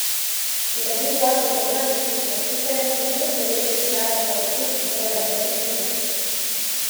Je pa bil zakon močan pritisk na tiste, ki niso želeli pristati na odkup njihove nepremičnine.